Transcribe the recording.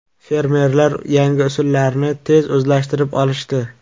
Fermerlar yangi usullarni tez o‘zlashtirib olishdi.